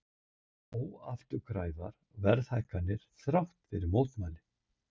Óafturkræfar verðhækkanir þrátt fyrir mótmæli